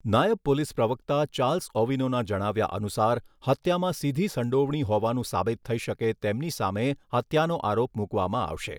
નાયબ પોલીસ પ્રવક્તા ચાર્લ્સ ઓવિનોના જણાવ્યા અનુસાર, હત્યામાં સીધી સંડોવણી હોવાનું સાબિત થઈ શકે તેમની સામે હત્યાનો આરોપ મૂકવામાં આવશે.